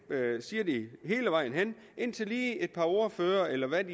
siger de hele vejen igennem indtil et par ordførere eller hvad